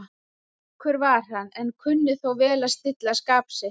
Geðríkur var hann, en kunni þó vel að stilla skap sitt.